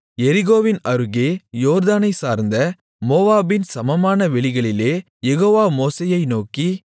எரிகோவின் அருகே யோர்தானைச் சார்ந்த மோவாபின் சமனான வெளிகளிலே யெகோவா மோசேயை நோக்கி